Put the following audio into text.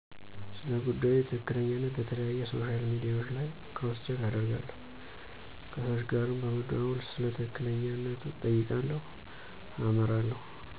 ስለጉዳዩ ትክክለኛነት በተለያዩ ሶሻል ሚዲያዎች ላይ ክሮስ ቼክ አደርጋለሁ። ከሰዎች ጋርም በመደዋወል ስለ ትክክለኛነቱ እጠይቃለሁ አመራለሁ።